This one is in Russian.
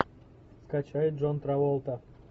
скачай джон траволта